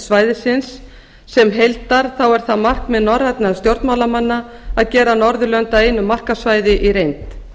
svæðisins sem heildar þá er það markmið norrænna stjórnmálamanna að gera norðurlönd að einu markaðssvæði í reynd